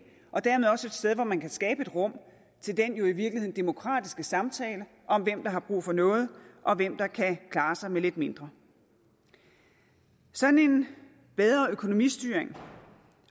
og dermed også et sted hvor man kan skabe et rum til den jo i virkeligheden demokratiske samtale om hvem der har brug for noget og hvem der kan klare sig med lidt mindre sådan en bedre økonomistyring